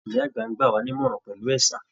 Ìyá àgbà ń gbàwá nímọ̀ràn pẹ̀lú ẹ̀sà